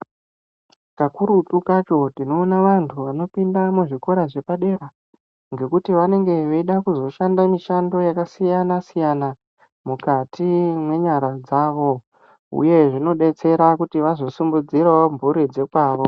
Kakurutu kacho tinoona vantu vanopinda muzvikora zvepadera ngekuti vanenge veida kuzoshanda mishando yakasiyana- siyana mukati mwenyara dzavo. Uye zvinodetsera kuti vazosimudzirawo mhuri dzokwavo.